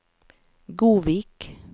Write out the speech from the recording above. Godvik